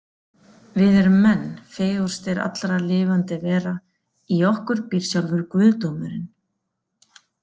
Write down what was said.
Við erum menn, fegurstir allra lifandi vera, í okkur býr sjálfur guðdómurinn.